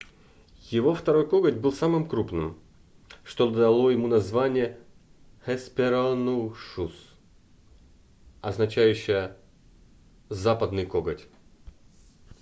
его второй коготь был самым крупным что дало ему название hesperonychus означающее западный коготь